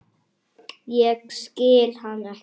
Ég skil hann ekki.